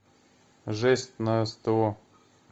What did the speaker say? жесть на сто